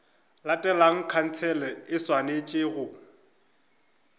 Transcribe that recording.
latelago khansele e swanetše go